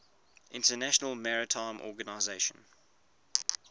international maritime organization